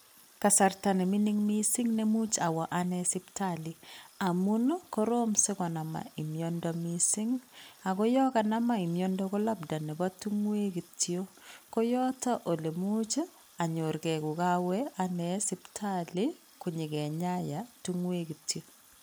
Kasarta ne mingin missing ne imuch owo anee sipitali amun korom sikonaman mmiondo miising, ako yon kanaman miondo ko labda nebo tingoek kityok koyoton ole imuch onyor gee kokowe anee sipitali konyo kenyayan tingoek kityok.